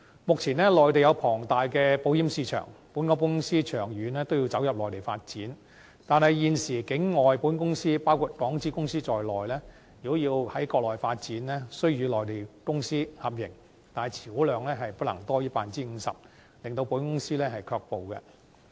目前，內地有龐大的保險市場，本港保險公司長遠都要走入內地發展，但現時境外保險公司包括港資公司在內，如要在國內發展，須與內地公司合營，且持股量不能多於 50%， 令港資保險公司卻步。